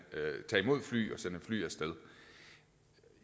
fly fly af sted